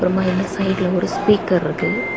மா இந்த சைட்ல ஒரு ஸ்பீக்கர் இருக்கு.